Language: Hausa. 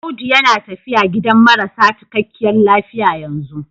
Audu yana tafiya gidan marasa cikakkiyar lafiya yanzu.